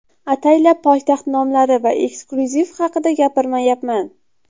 Ataylab poytaxt nomlari va eksklyuziv haqida gapirmayapman.